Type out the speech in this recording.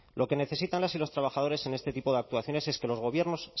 lo que necesitan las y los trabajadores en este tipo de actuaciones es que los gobiernos